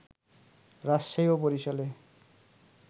রাজশাহী ও বরিশালে